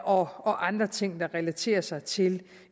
og andre ting der relaterer sig til